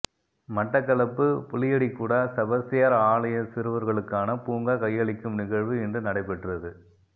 மட்டக்களப்பு புளியடிக்குடா செபஸ்தியார் ஆலய சிறுவர்களுக்கான பூங்கா கையளிக்கும் நிகழ்வு இன்று நடைபெற்றது